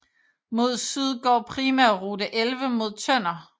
Mod syd går Primærrute 11 mod Tønder